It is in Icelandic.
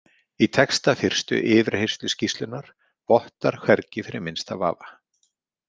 Í texta fyrstu yfirheyrsluskýrslunnar vottar hvergi fyrir minnsta vafa.